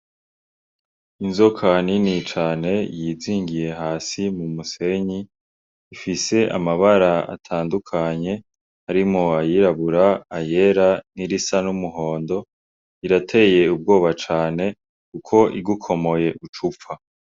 Inzoka nini cane yizingiye hasi mu musenyi ifise amabara atandukanye arimo ayirabura, ayera n'irisa n'umuhondo irateye ubwoba cane kuko igukomoye ucupfa.